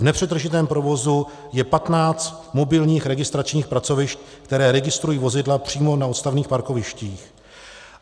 V nepřetržitém provozu je 15 mobilních registračních pracovišť, která registrují vozidla přímo na odstavných parkovištích.